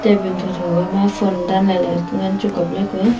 tabun thotho ga ma phone danla le ngan chu kaple kuye.